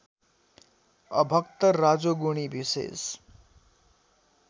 अभक्त रजोगुणी विशेष